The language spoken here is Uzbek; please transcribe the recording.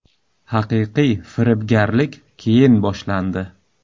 Haqiqiy firibgarlik keyin boshlandi.